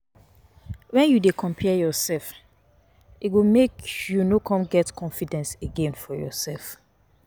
wen you dey compare yourself, e go make you no come get confidence again for yourself.